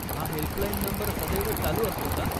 हा helpline number सदैव चालू असतो का?